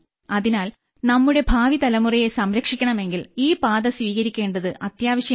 അതിനാൽ നമ്മുടെ ഭാവിതലമുറയെ സംരക്ഷിക്കണമെങ്കിൽ ഈ പാത സ്വീകരിക്കേണ്ടത് അത്യാവശ്യമാണ്